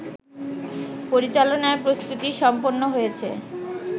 পরিচালনার প্রস্তুতি সম্পন্ন হয়েছে